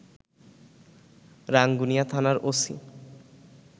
রাঙ্গুনিয়া থানার ওসি